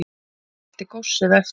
Skildi góssið eftir